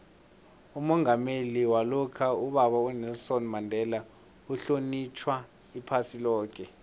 umongameli walokha ubaba unelson mandela uhlonitjhwa iphasi loke